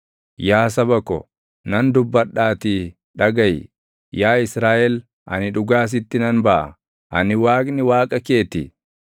“Yaa saba ko, nan dubbadhaatii dhagaʼi; yaa Israaʼel, ani dhugaa sitti nan baʼa: Ani Waaqni Waaqa kee ti.